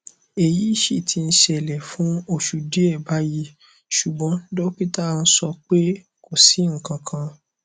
eyí si ti ń ṣẹlẹ fún oṣù díẹ báyìí ṣùgbọn dókítà nso pé kò sí nǹkankan